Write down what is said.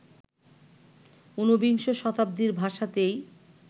ঊনবিংশ শতাব্দীর ভাষাতেই